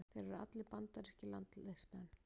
Þeir eru allir bandarískir landsliðsmenn